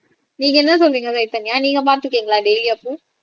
நீங்க என்ன சொல்றீங்க சைதன்யா நீங்க பார்த்து இருக்கீங்களா டாலியா பூ